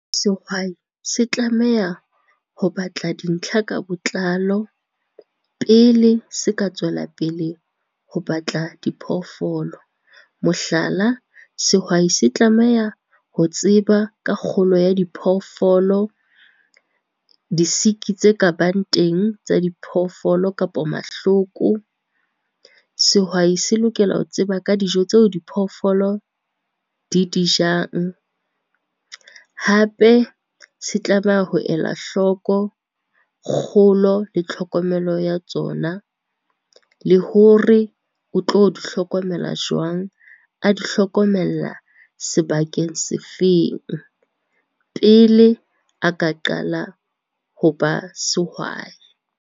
Sehwai se tlameha ho batla dintlha ka botlalo pele se ka tswelapele ho batla di phoofolo. Mohlala, sehwai se tlameha ho tseba ka kgolo ya diphoofolo, disiki tse ka bang teng tsa diphoofolo kapa mahloko. Sehwai se lokela ho tseba ka dijo tseo di phoofolo di di jang, hape se tlameha ho elwa hloko kgolo le tlhokomelo ya tsona, le hore o tlo di hlokomela jwang, a di hlokomella sebakeng se feng pele a ka qala ho ba sehwai.